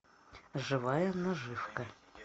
живая наживка